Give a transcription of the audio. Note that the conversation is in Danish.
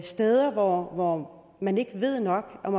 steder hvor man ikke ved nok om